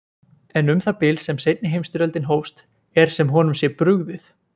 En um það bil sem seinni heimsstyrjöldin hófst er sem honum sé brugðið.